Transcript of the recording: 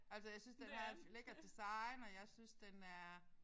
Altså jeg synes den har et lækkert design og jeg synes den er